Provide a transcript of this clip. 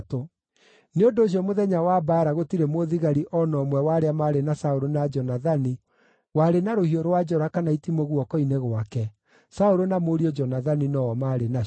Nĩ ũndũ ũcio mũthenya wa mbaara gũtirĩ mũthigari o na ũmwe wa arĩa maarĩ na Saũlũ na Jonathani warĩ na rũhiũ rwa njora kana itimũ guoko-inĩ gwake; Saũlũ na mũriũ Jonathani no-o maarĩ nacio.